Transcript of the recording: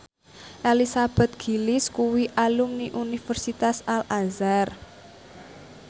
Elizabeth Gillies kuwi alumni Universitas Al Azhar